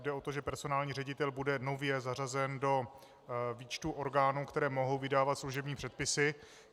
Jde o to, že personální ředitel bude nově zařazen do výčtu orgánů, které mohou vydávat služební předpisy.